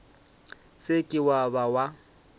se ke wa ba wa